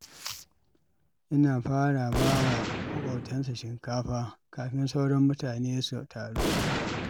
Yana fara ba wa maƙotansa shinkafa kafin sauran mutane su taru.